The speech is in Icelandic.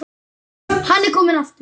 Hann er kominn aftur!